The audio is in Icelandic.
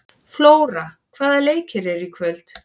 Flóra, hvaða leikir eru í kvöld?